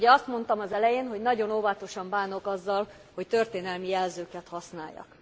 Ugye azt mondtam az elején, hogy nagyon óvatosan bánok azzal, hogy történelmi jelzőket használjak.